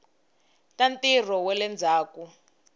ta ntirho wa le ndzhaku